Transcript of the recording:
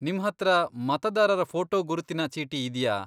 ನಿಮ್ಹತ್ರ ಮತದಾರರ ಫೋಟೋ ಗುರುತಿನ ಚೀಟಿ ಇದ್ಯಾ?